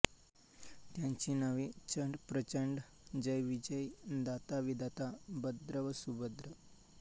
त्यांची नावे चंड प्रचंड जय विजय धाता विधाता भद्र व सुभद्र